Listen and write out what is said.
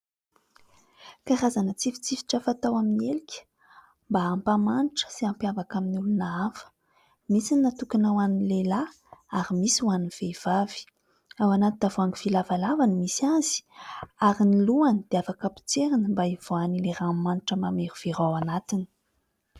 Karazana tsifitsifitra fatao amin'ny elika mba hampamanitra sy hampiavaka amin'ny olona hafa ; misy ny natokona ho an'ny lehilahy ary misy ho an'ny vehivavy. Ao anaty tavoahangy vy lavalava ny misy azy ary ny lohany dia afaka potserina mba hivoahany ranomanitra mamerovera ao anatiny.